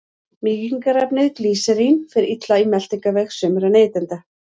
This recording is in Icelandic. Mýkingarefnið glýserín fer illa í meltingarveg sumra neytenda.